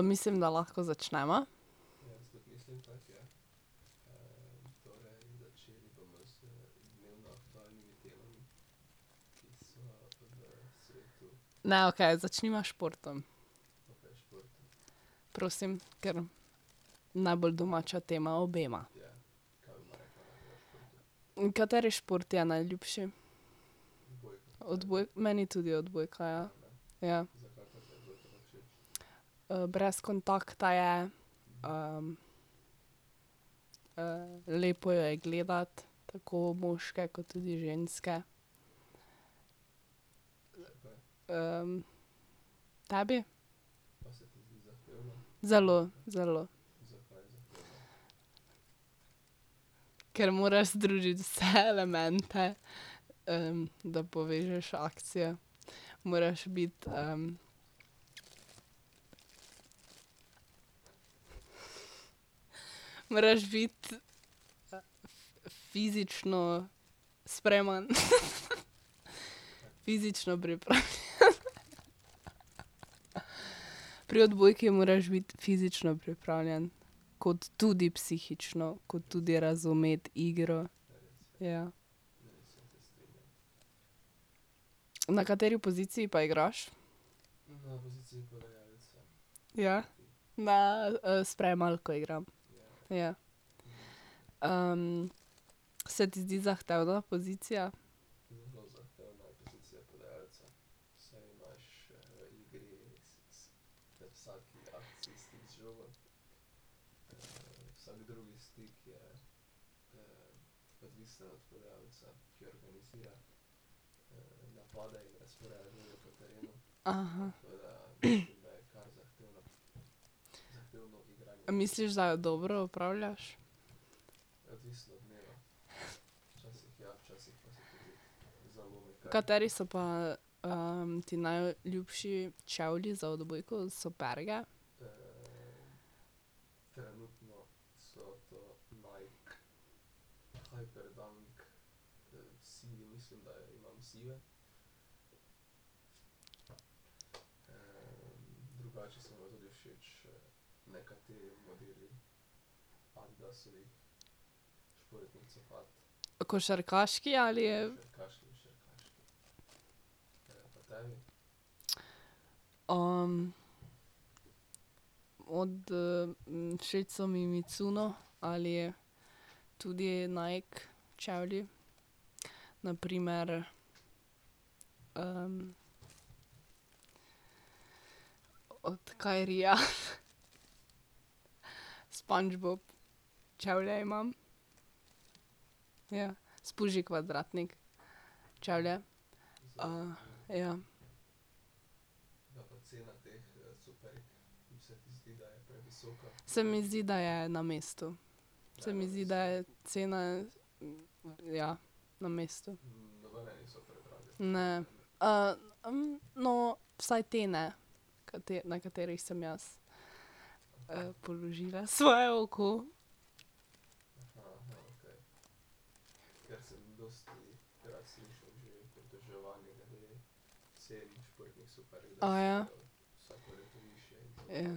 Mislim, da lahko začneva. Ne, okej, začniva s športom. Prosim, kar. Najbolj domača tema obema. Kateri šport ti je najljubši? meni tudi odbojka, ja. Ja. brez kontakta je, lepo jo je gledati, tako moške kot tudi ženske. tebi? Zelo, zelo. Ker moraš združiti vse elemente, da povežeš akcije, moraš biti Moraš biti fizično spreman. Fizično pripravljen. Pri odbojki moraš biti fizično pripravljen, kot tudi psihično, kot tudi razumeti igro, ja. Na kateri poziciji pa igraš? Ja, na, sprejemalko igram, ja. se ti zdi zahtevna pozicija? Aha. Misliš, da jo dobro opravljaš? Kateri so pa ti najljubši čevlji za odbojko, superge? Košarkaški ali? Od, všeč so mi Mizuno ali tudi Nike čevlji, na primer od Kyrieja, SpongeBob čevlje imam, ja, Spuži Kvadratnik čevlje. ja. Se mi zdi, da je na mestu. Se mi zdi, da je cena, ja, na mestu. Ne, no, vsaj te ne, na katerih sem jaz položila svoje oko. Aja. Ja.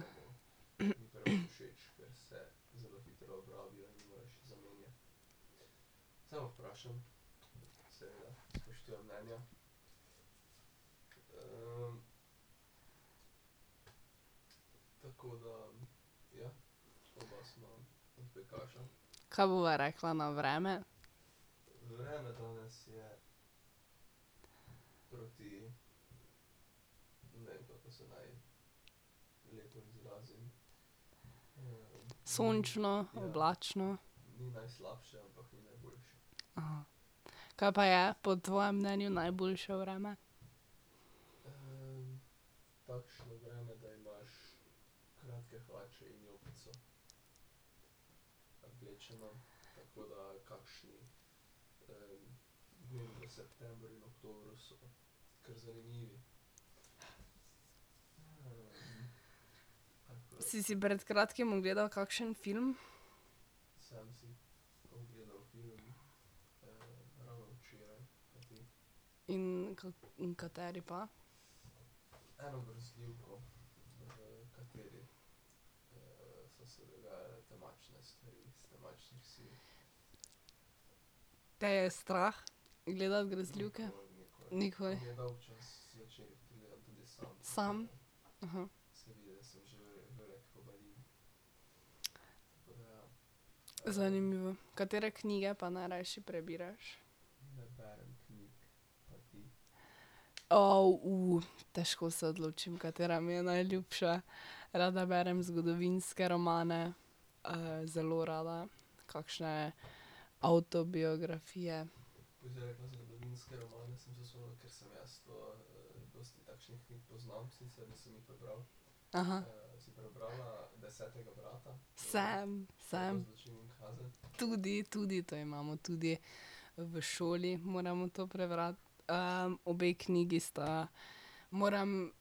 Kaj bova rekla na vreme? Sončno, oblačno. Kaj pa je po tvojem mnenju najboljše vreme? Si si pred kratkim ogledal kakšen film? In kateri pa? Te je strah gledati grozljivke? Nikoli? Sam? Aha. Zanimivo, katere knjige pa najrajši prebiraš? težko se odločim, katera mi je najljubša. Rada berem zgodovinske romane, zelo rada kakšne avtobiografije. Aha. Sem, sem. Tudi, tudi to imamo, tudi v šoli moramo to prebrati. obe knjigi sta, moram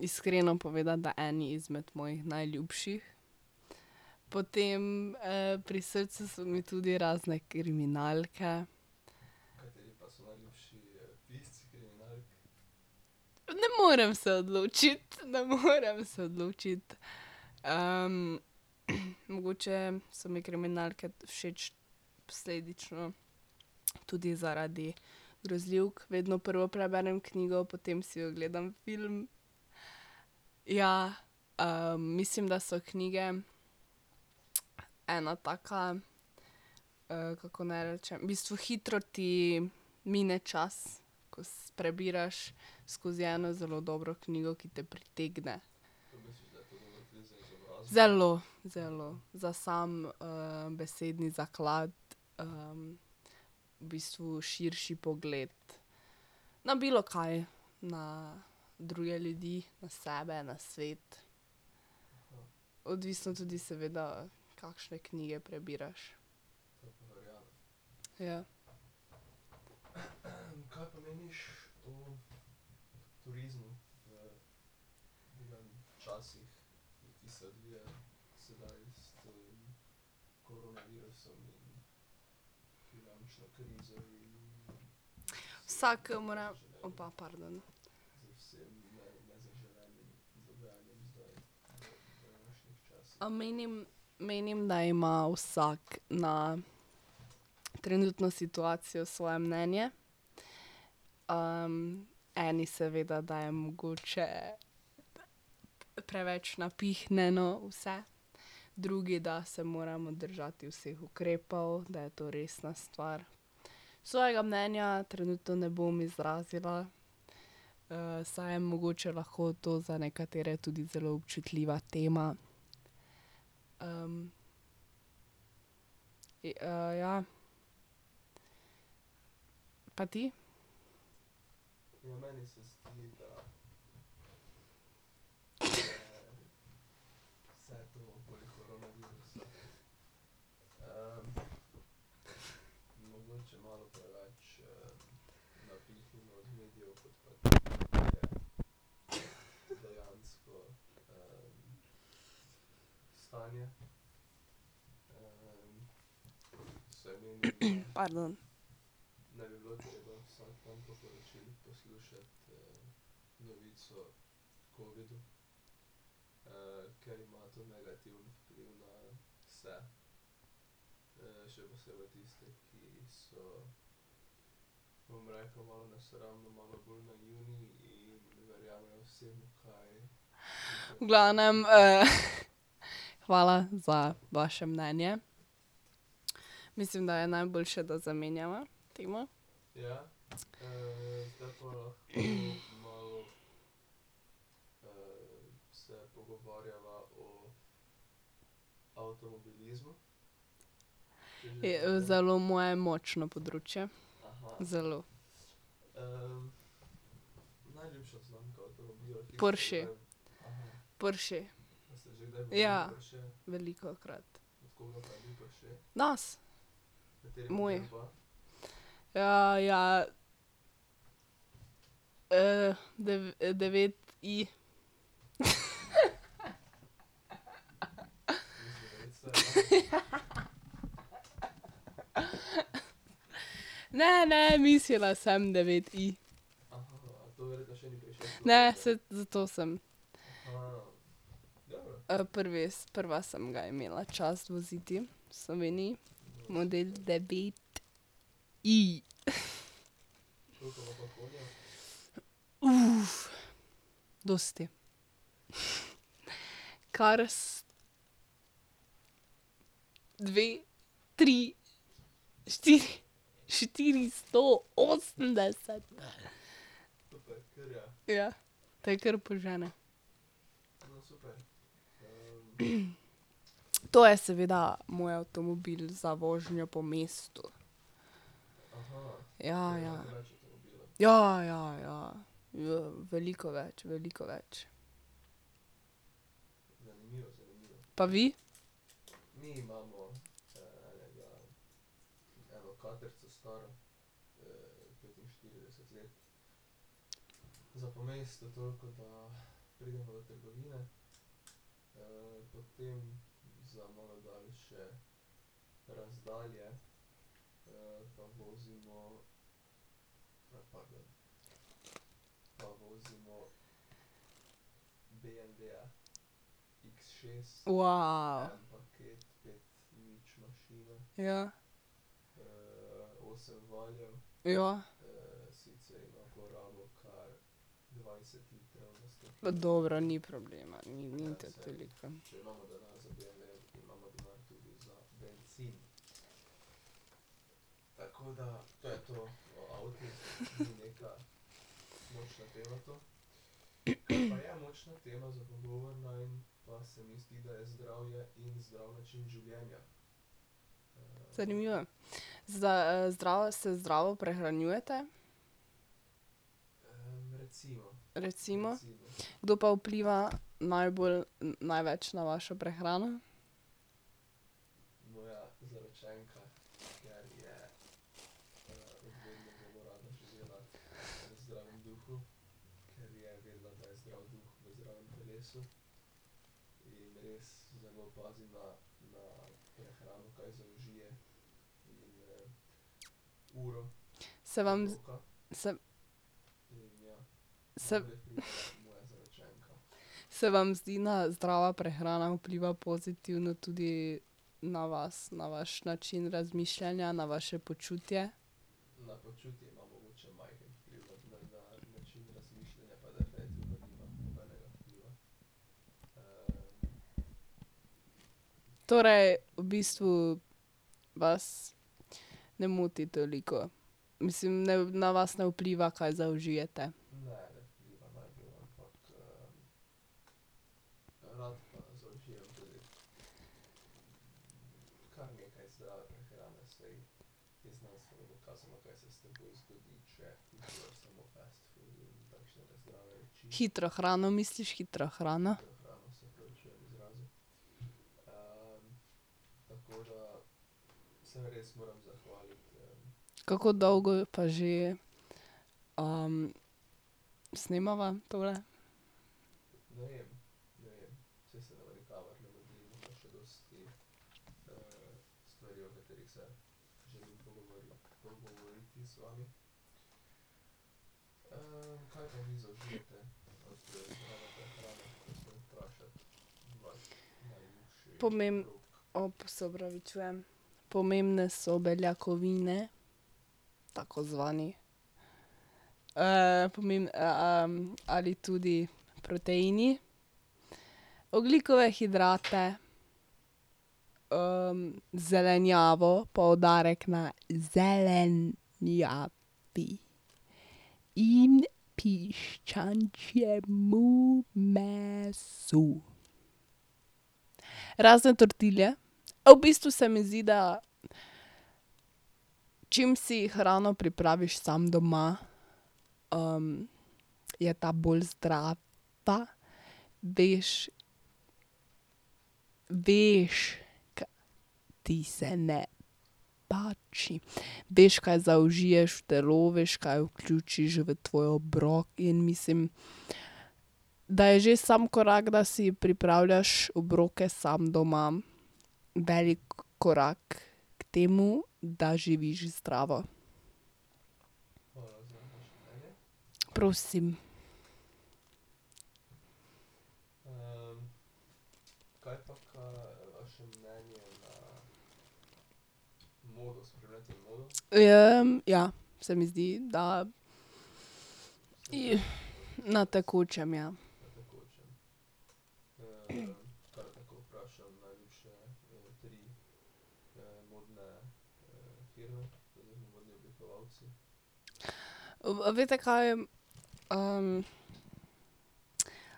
iskreno povedati, da eni izmed mojih najljubših. Potem, pri srcu so mi tudi razne kriminalke. Ne morem se odločiti, ne morem se odločiti, Mogoče so mi kriminalke všeč posledično tudi zaradi grozljivk, vedno prvo preberem knjigo, potem si ogledam film. Ja, mislim, da so knjige ena taka, kako naj rečem, v bistvu hitro ti mine čas, ko prebiraš skozi eno zelo dobro knjigo, ki te pritegne. Zelo, zelo, za sam besedni zaklad v bistvu širši pogled na bilokaj, na druge ljudi, na sebe, na svet. Odvisno tudi seveda kakšne knjige prebiraš. Ja. Vsak mora, pardon. Menim, menim, da ima vsak na trenutno situacijo svoje mnenje. eni seveda, da je mogoče preveč napihnjeno vse, drugi, da se moramo držati vseh ukrepov, da je to resna stvar. Svojega mnenja trenutno ne bom izrazila, saj je mogoče lahko to za nekatere tudi zelo občutljiva tema. ja. Pa ti? Pardon. V glavnem hvala za vaše mnenje. Mislim, da je najboljše, da zamenjava temo. Zelo moje močno področje, zelo. Porsche. Porsche. Ja, velikokrat. Nas. Moj. ja. devet i. Ne, ne, mislila sem devet i. Ne, saj zato sem. Prvi, prva sem ga imela čast voziti v Sloveniji, model devet i. dosti. Cars dve, tri, štiri, štiristo osemdeset. Ja, te kar požene. To je seveda moj avtomobil za vožnjo po mestu. Ja, ja. Ja, ja, ja. Veliko več, veliko več. Pa vi? Ja. Ja. Dobro, ni problema, ni tako veliko. Zanimiva, za zdravo, se zdravo prehranjujete? Recimo? Kdo pa vpliva najbolj, največ na vašo prehrano? Se vam se, se ... Se vam zdi na zdrava prehrana vpliva pozitivno tudi na vas, na vaš način razmišljanja, na vaše počutje? Torej, v bistvu vas ne moti toliko, mislim, ne, na vas ne vpliva, kaj zaužijete? Hitro hrano misliš, hitra hrana. Kako dolgo pa že snemava tole? se opravičujem. Pomembne so beljakovine, tako zvani ali tudi proteini, ogljikove hidrate, zelenjavo, poudarek na zelenjavi in piščančjemu mesu. Razen tortilje, v bistvu se mi zdi, da čim si hrano pripraviš sam doma, je ta bolj zdrava, veš, veš, ti se ne pači, veš, kaj zaužiješ v telo, veš, kaj vključiš v tvoj obrok in mislim, da je že sam korak, da si pripravljaš obroke sam doma, veliko korak k temu, da živiš zdravo. Prosim. ja, se mi zdi, da na tekočem, ja. veste kaj,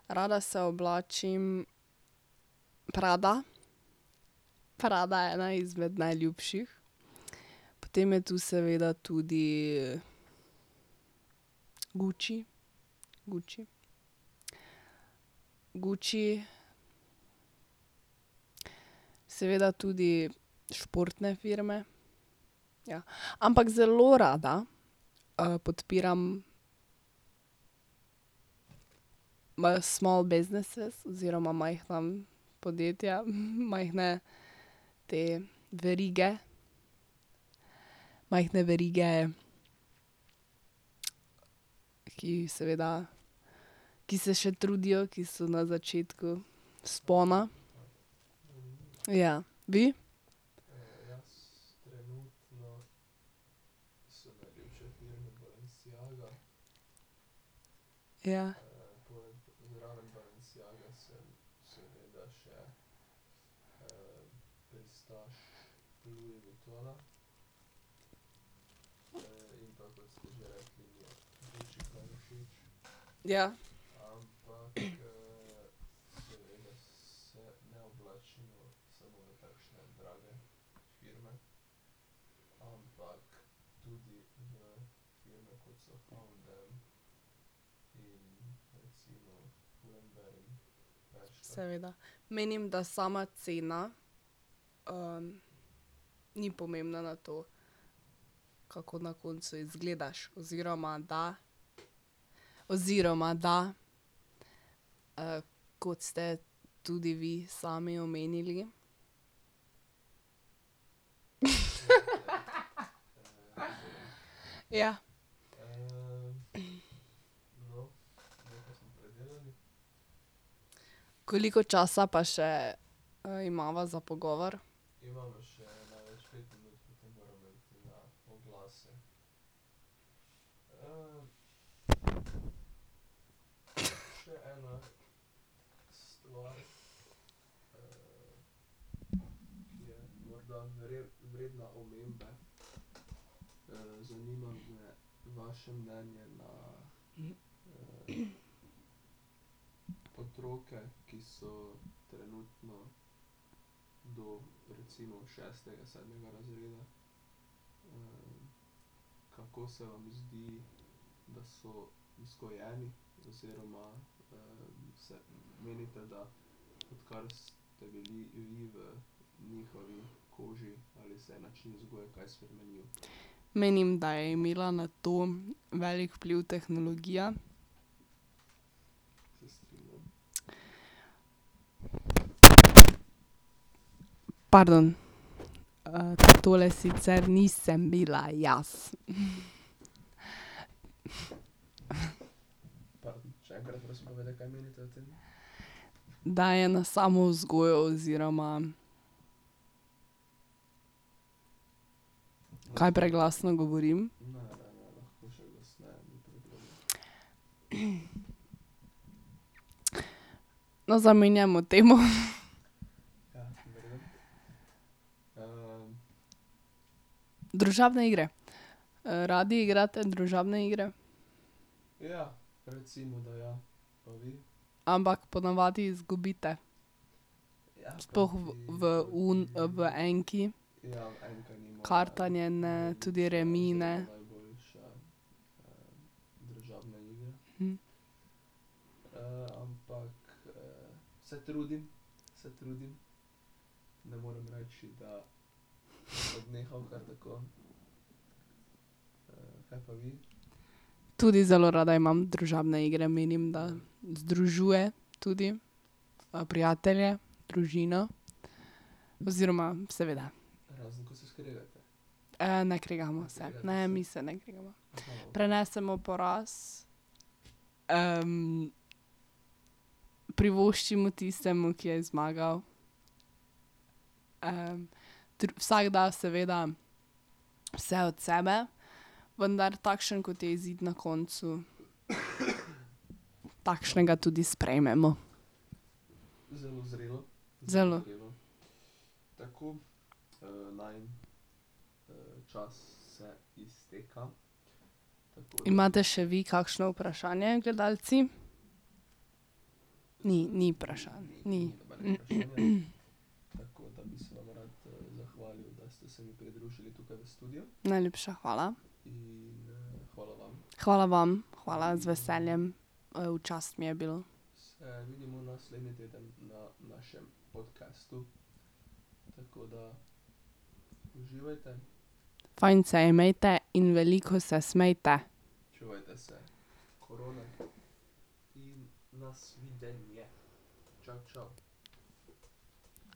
rada se oblačim Prada, Prada je ena izmed najljubših, potem je tu seveda tudi Gucci, Gucci, Gucci. Seveda tudi športne firme, ja, ampak zelo rada podpiram small businesses oziroma majhna podjetja, majhne te verige, majhne verige, ki jih seveda, ki se še trudijo, ki so na začetku vzpona. Ja. Vi? Ja. Ja. Seveda, menim, da sama cena ni pomembna na to, kako na koncu izgledaš, oziroma, da, oziroma, da, kot ste tudi vi sami omenili. Ja. Koliko časa pa še imava za pogovor? Menim, da je imela na to velik vpliv tehnologija. Pardon, tole sicer nisem bila jaz. Da je na samo vzgojo oziroma ... Kaj preglasno govorim? No, zamenjajmo temo. Družabne igre! radi igrate družabne igre? Ampak ponavadi izgubite? Sploh v v@ enki. Kartanje ne, tudi remi ne. Tudi zelo rada imam družabne igre, menim, da združuje tudi prijatelje, družino, oziroma seveda. ne kregamo se, ne, mi se ne kregamo. Prenesemo poraz privoščimo tistemu, ki je zmagal. vsak da seveda vse od sebe, vendar takšen, kot je izid na koncu, takšnega tudi sprejmemo. Zelo. Imate še vi kakšno vprašanje, gledalci? Ni, ni vprašanj, ni . Najlepša hvala. Hvala vam, hvala, z veseljem, v čast mi je bilo. Fajn se imejte in veliko se smejte.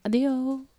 Adijo!